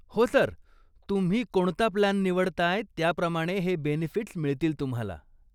हो सर, तुम्ही कोणता प्लान निवडताय त्याप्रमाणे हे बेनिफिट्स् मिळतील तुम्हाला,